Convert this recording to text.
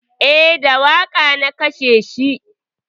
Eh, da wuƙa na kashe shi